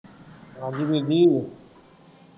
ਹਾਂਜੀ ਬੀਬੀ।